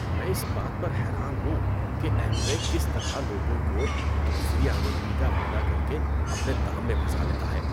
میں اس بات پر حیران ہوں کہ ایم وے کس طرح لوگوں کو دوسری آمدنی کا وعدہ کر کے اپنے دام میں پھنسالیتا ہے۔